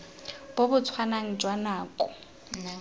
bo bo tshwanang jwa nako